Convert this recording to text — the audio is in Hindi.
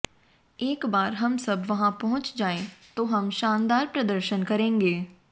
एक बार हम सब वहां पहुंच जाए तो हम शानदार प्रदर्शन करेंगे